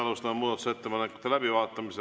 Alustame muudatusettepanekute läbivaatamist.